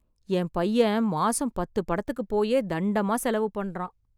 என் பையன் மாசம் பத்து படத்துக்கு போயே , தண்டமா செலவு பண்ணுறான்.